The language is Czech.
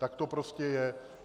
Tak to prostě je.